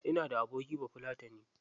Ina da abokin bafulatani.